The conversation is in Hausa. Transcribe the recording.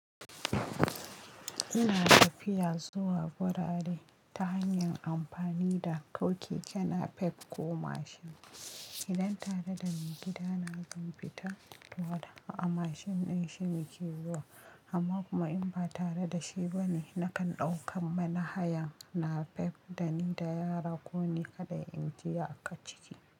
Ina tafiya zuwa gurare ta hanyar amfani da ko keke napep ko mashin. Idan tare da maigidana zan fita, to haka mashin din shi muke zuwa amma kuma in ba tare da shi bane, nakan ɗaukan manhayan napep da ni da yara ko ni kaɗai inji aka ciki.